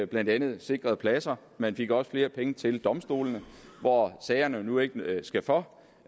blandt andet sikrede pladser man fik også flere penge til domstolene hvor sagerne nu ikke skal for